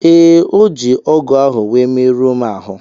Ee, o ji ọ́gụ̀ ahụ wee merụọ m ahụ́.